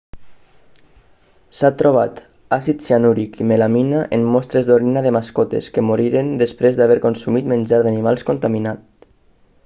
s'ha trobat àcid cianúric i melamina en mostres d'orina de mascotes que moriren després d'haver consumit menjar d'animals contaminat